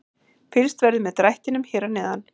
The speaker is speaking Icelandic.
Fylgst verður með drættinum hér að neðan.